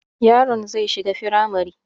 Yaron zai shiga firamare